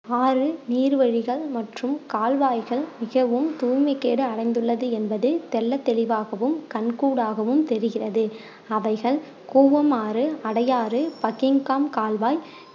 ஆறு, நீர் வழிகள் மற்றும் கால்வாய்கள் மிகவும் தூய்மை கேடு அடைந்துள்ளது என்பது தெள்ளத் தெளிவாகவும் கண் கூடாகவும் தெரிகிறது அவைகள் கூவமாறு, அடையாறு, பக்கிங்காம் கால்வாய்